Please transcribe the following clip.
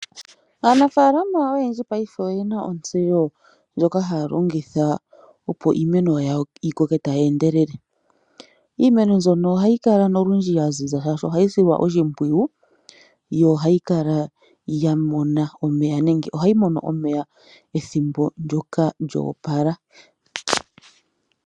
Aanafaalama oyendji ngaashingeyi oyena ontseyo ndjoka haya longitha opo iimeno yawo yi koke tayi endelele. Iimeno mbyono ohayi kala nolundji ya ziza shaashi ohayi silwa oshimpwiyu, yo ohayi kala ya mona omeya, nenge ohayi mono omeya ethimbo ndyoka lya opala.